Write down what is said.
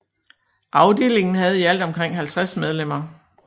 Afdelingen havde i alt omkring 50 medlemmer